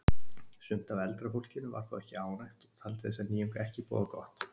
Sumt af eldra fólkinu var þó ekki ánægt og taldi þessa nýjung ekki boða gott.